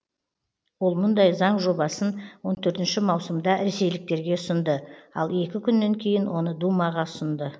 ол мұндай заң жобасын маусымда ресейліктерге ұсынды ал екі күннен кейін оны думаға ұсынды